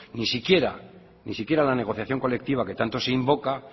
ni siquiera la negociación colectiva que tanto se invoca